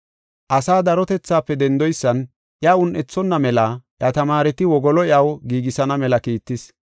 Asaa darotethaafe dendoysan iya un7ethonna mela iya tamaareti wogolo iyaw giigisana mela kiittis.